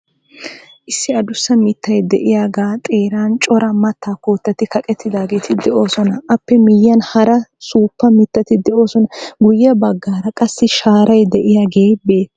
Issi adussa mittay de"iyaagaa xeeran cora mattaa koottati kaqettidaageeti de'oosona. Aappe miyiyan hara suuppa mittati de'oosona. Guyye baggaara qassi shaaray diyaagee beettes.